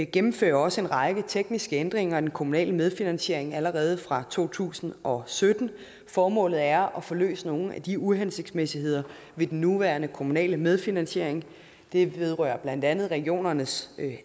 gennemfører også en række tekniske ændringer i den kommunale medfinansiering allerede fra to tusind og sytten formålet er at få løst nogle af de uhensigtsmæssigheder ved den nuværende kommunale medfinansiering det vedrører blandt andet regionernes